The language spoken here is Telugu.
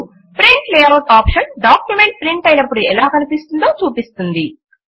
print layout option document print అయినప్పుడు ఎలా కనిపిస్తుందో చూపిస్తుంది